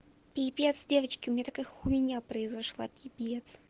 пипец девочки у меня такая хуйня произошла пипец